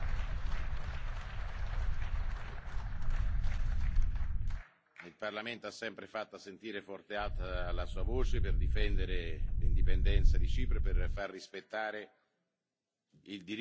Il Parlamento ha sempre fatto sentire forte e alta la sua voce per difendere l'indipendenza di Cipro e per far rispettare il diritto sempre e comunque, anche a un paese candidato quale è la Turchia.